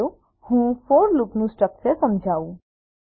ચાલો હું ફોર લુપનું સ્ટ્રક્ચર સમજાવું